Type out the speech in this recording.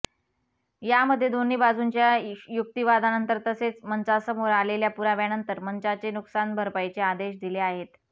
यामध्ये दोन्ही बाजूंच्या युक्तिवादानंतर तसेच मंचासमोर आलेल्या पुराव्यानंतर मंचाने नुकसान भरपाईचे आदेश दिले आहेत